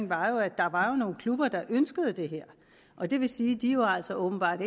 var jo at der var nogle klubber der ønskede det her og det vil sige at de altså åbenbart